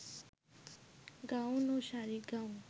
gown ও শাড়ি-গাউন